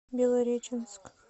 белореченск